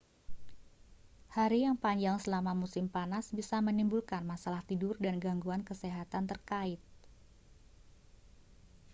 hari yang panjang selama musim panas bisa menimbulkan masalah tidur dan gangguan kesehatan terkait